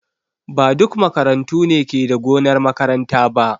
Ba duk makarantu ne ke da gonar makaranta ba.